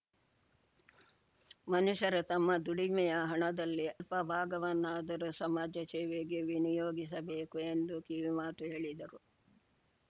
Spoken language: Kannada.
ಮನುಷ್ಯರು ತಮ್ಮ ದುಡಿಮೆಯ ಹಣದಲ್ಲಿ ಅಲ್ಪ ಭಾಗವನ್ನಾದರೂ ಸಮಾಜ ಸೇವೆಗೆ ವಿನಿಯೋಗಿಸಬೇಕು ಎಂದು ಕಿವಿಮಾತು ಹೇಳಿದರು